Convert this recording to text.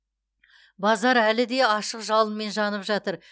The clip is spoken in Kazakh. базар әлі де ашық жалынмен жанып жатыр